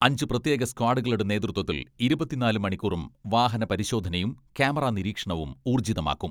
അഞ്ചു പ്രത്യേക സ്ക്വാഡുകളുടെ നേതൃത്വത്തിൽ ഇരുപത്തിനാല് മണിക്കൂറും വാഹനപരിശോധനയും ക്യാമറ നിരീക്ഷണവും ഊർജ്ജിതമാക്കും.